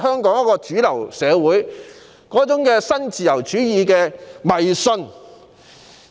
便是主流社會對新自由主義的迷思。